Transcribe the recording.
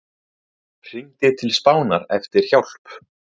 Hringdi til Spánar eftir hjálp